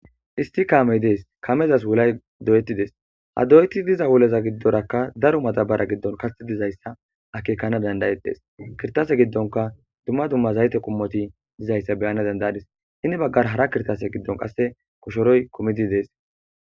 issi kaamey dees kamezas wulay doyetti dees ha doyeti diza wuleza giddorakka daro matabara giddon kasetidizayssa akekana dandayetdees kirtase giddonka dumma dumma zayte qummoti dizayssa beyana dandayadis hini baggar hara kirtase giddon qasse koshoroy komidi dees